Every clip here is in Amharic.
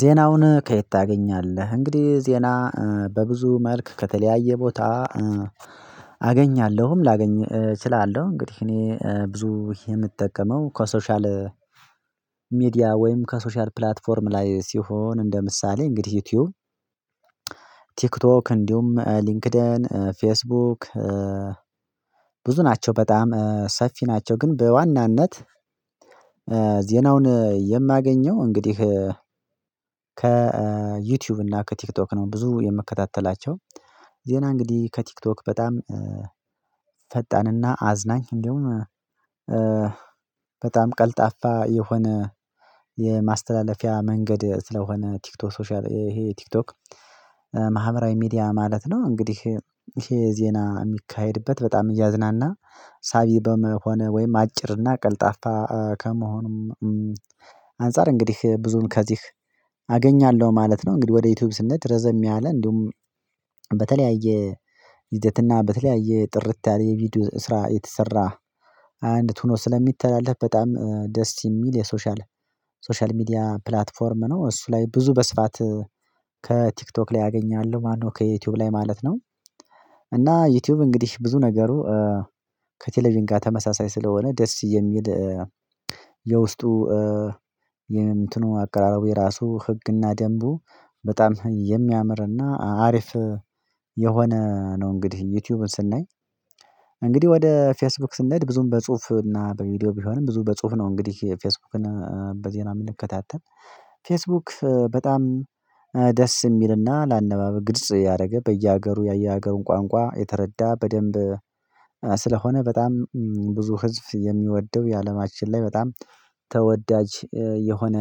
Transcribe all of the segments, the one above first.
ዜናውን ከየት ታገኛለህ እንግዲህ ዜና በብዙ መልክ ከተለያየ ቦታ አገኛለሁም ላገኝ እችላለሁ። እንግዲህ እኔ ብዙ የምጠቀመው ከሶሻል ወይም ከሶሻል ፕላትፎርም ላይ ሲሆን እንደ ምሳሌ እንግዲህ ዩቲዩብ ቲክቶክ እንዲሁም ሊንክድን ፌስቡክ ብዙ ናቸው በጣም ሰፊ ናቸው ግን በዋናነት ዜናውን የማገኘው እንግዲህ ከዩቲዩብ እና ከቲክቶክ ነው። ብዙ የምከታተላቸው ዜና እንግዲህ ከቲክቶክ በጣም ፈጣንና አዝናኝ እንደውም በጣም ቀልጣፋ የሆነ የማስተላለፊያ መንገድ ስለሆነ ቲክቶክ ሶሻል ይሄ ቲክቶክ ማህበራዊ ሚዲያ ማለት ነው እንግዲህ ይሄ ዜና የሚካሄድበት በጣም እያዝናና ሳቢ በመሆን ወይም አጭርና ቀልጣፋ ከመሆኑም አንፃር እንግዲህ ብዙን ከዚህ አገኛለሁ ማለት ነው። እንግዲህ ወደ ዩቲዩብ ስንሄድ ረዘም ያለ እንዲሁም በተለያየ ይዘትና በተለያየ ጥርት ያለ የቪዲዮ ስራ የተሰራ አንዲት ሆኖ ስለሚተላለፍ በጣም ደስ የሚል የሶሻል ሶሻል ሚዲያ ፕላትፎርም ነው። እሱ ላይ ብዙ በስፋት ከቲክቶክ ላይ አገኛለሁ ማነው ከዩቲዩብ ላይ ማለት ነው እና ዩቲዩብ እንግዲህ ብዙ ነገሩ ከቴሌቪዥን ጋር ተመሳሳይ ስለሆነ ደስ የሚል የውስጡ የእንትኑ አቀራረቡ የራሱ ህግና ደንቡ በጣም የሚያምርና አሪፍ የሆነ ነው። እንግዲህ ዩቲዩብን ስናይ እንግዲህ ወደ ፌስቡክ ስንሄድ ብዙም በጽሁፍ እና በቪዲዮ ቢሆንም ብዙ በጽሁፍ ነው እንግዲህ ፌስቡክን በዜና ምንከታተል ፌስቡክ በጣም ደስ የሚልና ለአነባብ ግልጽ ያደረገ በየሀገሩ ያየ ሀገሩን ቋንቋ የተረዳ በደንብ ስለሆነ በጣም ብዙ ህዝብ የሚወደው የአለማችን ላይ በጣም ተወዳጅ የሆነ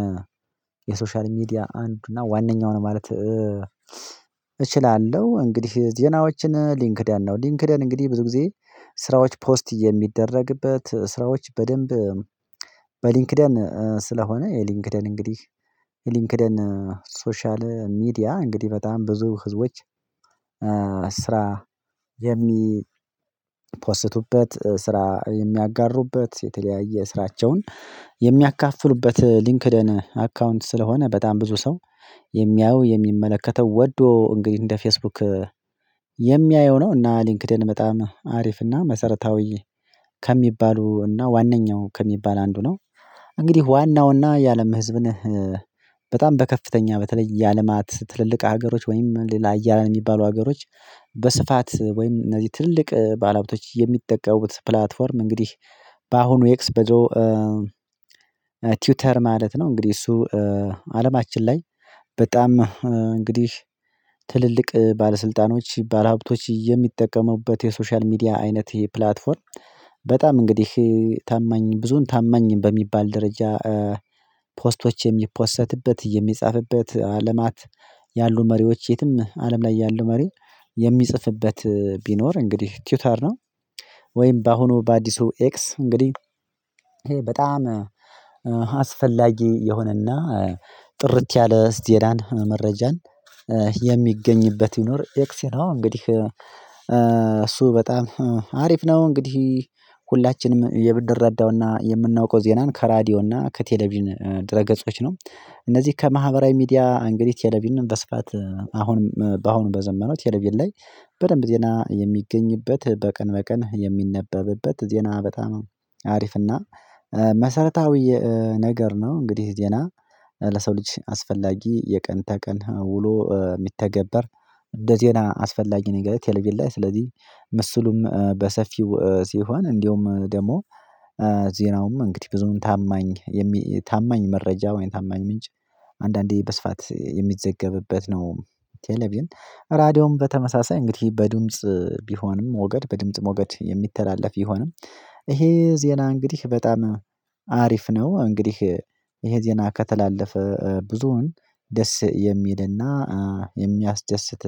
የሶሻል ሚዲያ አንድ እና ዋነኛው ነው። ማለት እችላለሁ እንግዲህ ዜናዎችን ሊንክድን ነው ሊንክድ እንግዲህ ብዙ ጊዜ ስራዎች ፖስት የሚደረግበት ስራዎች በደንብ በሊንክደን ስለሆነ የሊንክደን እንግዲህ የሊንክደን ሶሻል ሚዲያ እንግዲህ በጣም ብዙ ህዝቦች ስራ የሚፕስቱበት ስራ የሚያጋሩበት የተለያየ ስራቸውን የሚያካፍሉበት ሊንክደን አካውንት ስለሆነ በጣም ብዙ ሰው የሚያየው የሚመለከተው ወዶ እንግዲህ እንደ ፌስቡክ የሚያየው ነው እና ሊንክድኢን በጣም አሪፍና መሰረታዊ ከሚባሉና ዋናኛው ከሚባል አንዱ ነው። እንግዲህ ዋናውና የአለም ህዝብን በጣም በከፍተኛ በተለይ የአለማት ትልልቅ ሀገሮች ወይም ሌላ ሀያላን ነው የሚባሉ ሀገሮች በስፋት ወይም እነዚህ ትልቅ ባለሀብቶች የሚጠቀሙት ፕላትፎርም እንግዲህ በአሁኑ ኤክስ ቲውተር ማለት ነው። እንግዲህ እሱ አለማችን ላይ በጣም እንግዲህ ትልልቅ ባለስልጣኖች ባለሀብቶች የሚጠቀሙበት የሶሻል ሚዲያ አይነት ይሄ ፕላትፎርም በጣም እንግዲህ ታማኝ ብዙን ታማኝ በሚባል ደረጃ የሚፖሰትበት የሚጻፍበት አለማት ያሉ መሪዎች የትም አለም ላይ ያሉ መሪ የሚጽፍበት ቢኖር እንግዲህ ቲዊተር ነው። ወይም በአሁኑ በአዲሱ ኤክስ እንግዲህ ይሄ በጣም አስፈላጊ የሆነና ጥርት ያለ እስቲ የዳን መረጃን የሚገኝበት ይኖር ኤክስ ነው እንግዲህ እሱ በጣም አሪፍ ነው። እንግዲህ ሁላችንም የብድር ረዳውና የምናውቀው ዜናን ከራዲዮና ከቴሌቪዥን ድረ ገጾች ነው። እነዚህ ከማህበራዊ ሚዲያ እንግዲህ ቴሌቪዥንም በስፋት አሁንም በአሁኑም በዘመነው ቴልቪዥን ላይ በደንብ ዜና የሚገኝበት በቀን በቀን የሚነበብበት ዜና በጣም አሪፍና እና መሰረታዊ ነገር ነው። እንግዲህ ዜና ለሰው ልጅ አስፈላጊ የቀን ተቀን ውሎ የሚተገበር እንደዜና የሆነ አስፈላጊ ነገር ቴልቪዥን ላይ ስለዚህ ምስሉም በሰፊው ሲሆን እንደውም ደግሞ ዜናውም እንግዲህ ብዙም ታማኝ ታማኝ መረጃ ወይም ታማኝ ምንጭ አንዳንዴ በስፋት የሚዘገብበት ነው። ቴሌቪዥን ራዲዮም በተመሳሳይ እንግዲህ በድምጽ ቢሆንም ወገድ በድምጽ ሞገድ የሚተላለፍ ይሆንም ይሄ ዜና እንግዲህ በጣም አሪፍ ነው። እንግዲህ ይሄ ዜና ከተላለፈ ብዙሁን ደስ የሚልና የሚያስደስት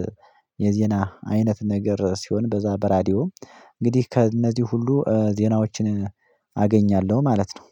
የዜና አይነት ነገር ሲሆን በዛ በራዲዮ እንግዲህ ከእነዚህ ሁሉ ዜናዎችን አገኛለሁ ማለት ነው